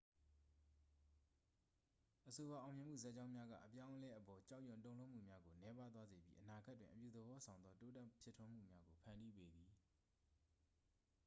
အဆိုပါ အောင်မြင်မှုဇာတ်ကြောင်းများက အပြောင်းအလဲအပေါ် ကြောက်ရွံ့တုန်လှုပ်မှုများကို နည်းပါးသွားစေပြီး အနာဂတ်တွင် အပြုသဘောဆောင်သော တိုးတက်ဖြစ်ထွန်းမှုများကို ဖန်တီးပေးသည်